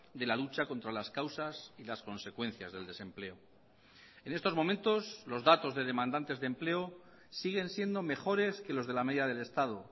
de la lucha contra las causas y las consecuencias del desempleo en estos momentos los datos de demandantes de empleo siguen siendo mejores que los de la media del estado